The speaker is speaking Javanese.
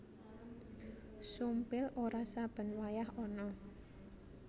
Sumpil ora saben wayah ana